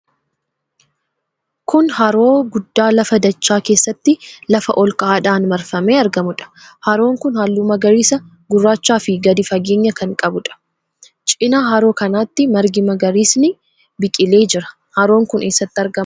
Kun haroo guddaa lafa dachaa keessatti lafa ol ka'aadhaan marfamee argamuudha. Haroon kun halluu magariisa gurraachaafi gadi fageenya kan qabuudha. Cina haroo kanaatti margi magariisni biqilee jira. Haroon kun eessatti argama?